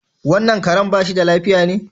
Wannan Karen bashi da lafiya ne?